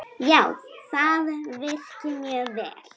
Já, það virkar mjög vel.